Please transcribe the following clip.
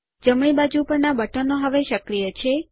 જમણી બાજુ પરના બટનો હવે સક્રિય છે